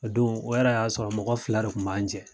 O don o yɛrɛ y'a sɔrɔ mɔgɔ fila de kun b'an jɛn